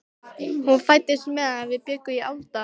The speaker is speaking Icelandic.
Hún fæddist meðan við bjuggum í Álfadal.